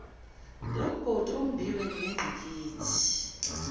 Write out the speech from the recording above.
lomgodi ombiwe nengqikithi